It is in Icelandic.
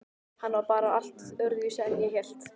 Hann var bara allt öðruvísi en ég hélt.